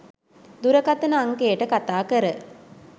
දුරකතන අංකයට කතාකර